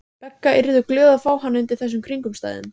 Begga yrðu glöð að fá hann undir þessum kringumstæðum.